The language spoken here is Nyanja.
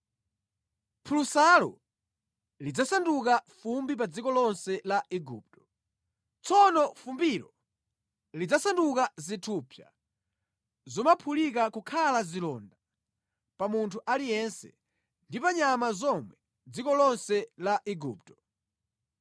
Phulusalo lidzasanduka fumbi pa dziko lonse la Igupto. Tsono fumbilo lidzasanduka zithupsa zomaphulika nʼkukhala zilonda pa munthu aliyense ndi pa nyama zomwe mʼdziko lonse la Igupto.”